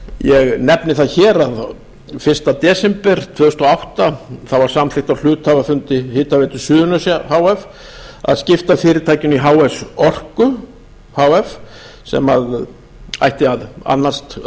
ég nefni það hér að fyrsta desember tvö þúsund og átta var samþykkt á hluthafafundi hitaveitu suðurnesja h f að skipta fyrirtækinu í h s orku h f sem ætti þá að